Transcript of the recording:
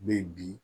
Be bi